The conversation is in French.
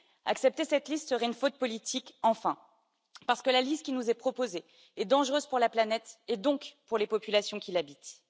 Accepter cette liste serait une faute politique, enfin, parce que la liste qui nous est proposée est dangereuse pour la planète, et donc pour les populations qui l'habitent.